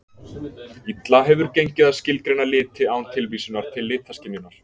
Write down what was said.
Illa hefur gengið að skilgreina liti án tilvísunar til litaskynjunar.